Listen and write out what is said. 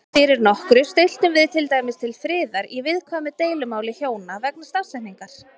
Fyrir nokkru stilltum við til dæmis til friðar í viðkvæmu deilumáli hjóna vegna stafsetningar.